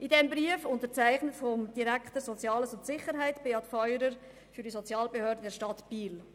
Dieser Brief ist unterzeichnet vom Direktor Soziales und Sicherheit, Beat Feurer, für die Sozialbehörde der Stadt Biel.